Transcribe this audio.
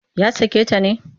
Ya sake ta ne?